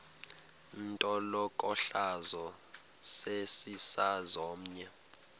intlokohlaza sesisaz omny